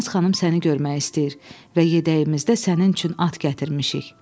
Çimnaz xanım səni görmək istəyir və yedəyimizdə sənin üçün at gətirmişik."